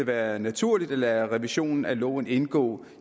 være naturligt at lade revisionen af loven indgå